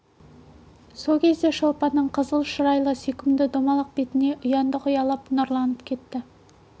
сол сәтте шолпанның қызыл шырайлы сүйкімді домалақ бетіне ұяңдық ұялап нұрланып кетті